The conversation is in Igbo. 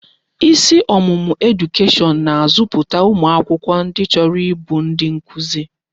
Isi ọmụmụ edukeshọn na-azọpụta ụmụ akwụkwọ ndi chọrọ ịbụ ndi nkuzi.